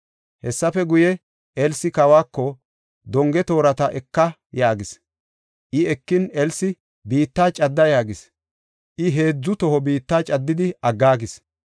Hessafe guye, Elsi kawako, “Donge toorata eka” yaagis. I ekin, Elsi, “Biittaa cadda” yaagis. I heedzu toho biitta caddidi aggaagis.